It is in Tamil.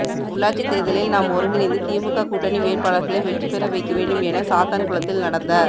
உள்ளாட்சித் தோ்தலில் நாம் ஒருங்கிணைந்து திமுக கூட்டணி வேட்பாளா்களை வெற்றி பெற வைக்க வேண்டும் என சாத்தான்குளத்தில் நடந்த